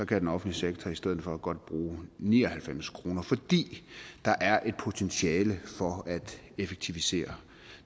kan den offentlige sektor i stedet for godt bruge ni og halvfems kr fordi der er et potentiale for at effektivisere